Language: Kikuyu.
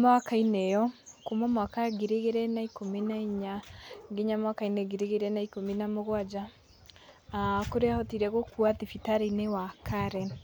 mwaka-inĩ ĩyo, kuuma mwaka ngiri igĩrĩ na ikũmi na inya, nginya mwaka-inĩ ngiri igĩrĩ ikũmi na mũgwanja, aah kũrĩa ahotire gũkua thibitarĩ-inĩ wa Karen.